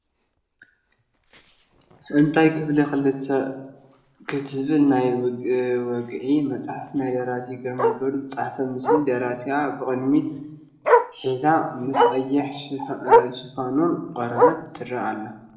ክስታይ ክፉል ክልተ እትብል ናይ ወግዒ መፅሓፍ ናይ ብደራሲ ግርማይ ገብሩ ዝተፃሕፈት ምስሊ ደራሲኣ ብቅድሚት ሒዛ ምስ ቀይሕ ዝሽፋኑ ቆርበታ ትርአ ኣላ፡፡